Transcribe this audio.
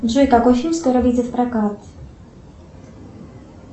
джой какой фильм скоро выйдет в прокат